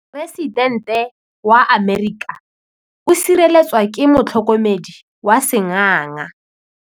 Poresitêntê wa Amerika o sireletswa ke motlhokomedi wa sengaga.